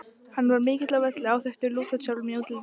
Hann var mikill á velli, áþekkur Lúter sjálfum í útliti.